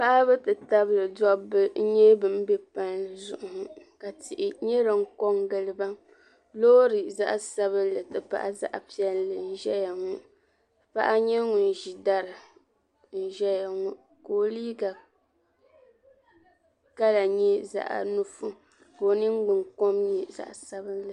Paɣaba ti tabili dɔbba kɔm zuɣu ŋɔ ka tihi nyɛ din ko n giliba loori zaɣi sabinli ti pahi zaɣi piɛlli n ʒɛya ŋɔ paɣa nyɛ ŋun ʒi dari n ʒɛya ŋɔ ka o liiga kala nye zaɣi nusi ka ningbun kɔm nyɛ zaɣi sabinli.